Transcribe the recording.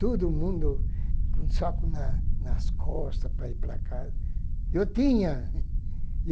Todo mundo com o saco na nas costas para ir para casa. Eu tinha